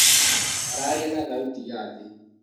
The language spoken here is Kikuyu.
Mararia na thauti ya thĩ